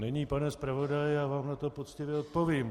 Milý pane zpravodaji, já vám na to poctivě odpovím.